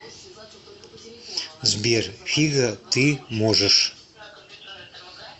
сбер фига ты можешь